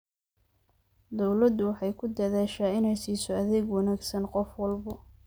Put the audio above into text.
Dawladdu waxay ku dadaashaa inay siiso adeeg wanaagsan qof walba.